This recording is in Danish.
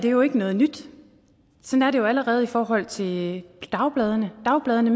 er jo ikke noget nyt sådan er det jo allerede i forhold til dagbladene dagbladene